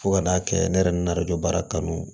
Fo ka n'a kɛ ne yɛrɛ n'arajo baara kanu